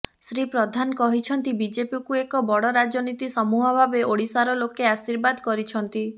ଶ୍ରୀ ପ୍ରଧାନ କହିଛନ୍ତି ବିଜେପିକୁ ଏକ ବଡ ରାଜନୀତି ସମୂହ ଭାବେ ଓଡିଶାର ଲୋକେ ଆଶୀର୍ବାଦ କରିଛନ୍ତି